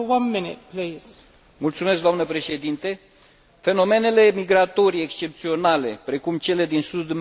Fenomenele migratorii excepționale, precum cele din sudul Mediteranei, nu trebuie să amenințe spațiul Schengen.